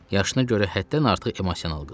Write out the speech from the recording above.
Yaşına görə həddən artıq emosional qızdır.